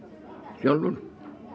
sjálfur